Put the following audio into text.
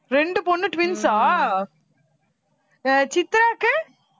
ரெண்டு பொண்ணு twins ஆ அஹ் சித்ராக்கு?